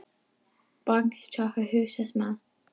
Baldur, opnaðu dagatalið mitt.